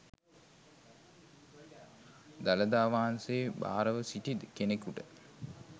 දළදා වහන්සේ භාරව සිටි කෙනෙකුට